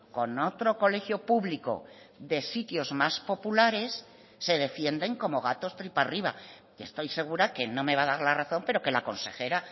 con otro colegio público de sitios más populares se defienden como gatos tripa arriba y estoy segura que no me va a dar la razón pero que la consejera